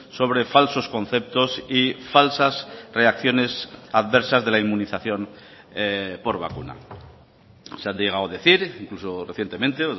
sobre falsos conceptos y falsas reacciones adversas de la inmunización por vacuna se ha llegado a decir incluso recientemente